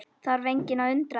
Þarf engan að undra það.